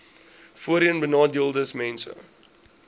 voorheenbenadeeldesmense